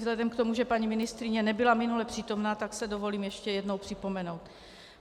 Vzhledem k tomu, že paní ministryně nebyl minule přítomna, tak se dovolím ještě jednou připomenout.